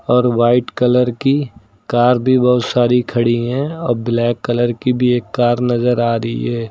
और white colour की car भी बहुत सारी खड़ी हैं और ब्लैक कलर की भी एक कार नजर आ रही है।